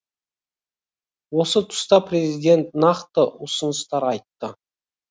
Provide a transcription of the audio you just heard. осы тұста президент нақты ұсыныстар айтты